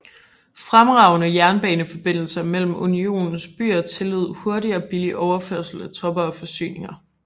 Fremragende jernbaneforbindelser mellem Unionens byer tillod hurtig og billig overførsel af tropper og forsyninger